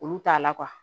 Olu t'a la